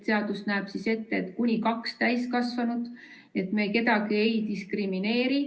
Seadus näeb ette, et kuni kaks täiskasvanut, me kedagi ei diskrimineeri.